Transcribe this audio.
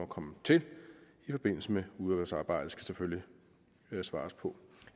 komme til i forbindelse med udvalgsarbejdet skal selvfølgelig svares på